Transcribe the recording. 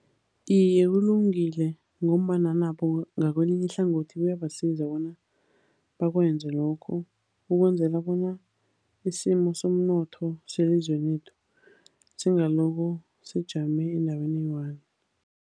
Iye, kulungile ngombana nabo ngakwelinye ihlangothi kuyabasiza bona bakwenze lokho ukwenzela bona isimo somnotho selizweni lethu, singaloko sijame endaweni eyi-one.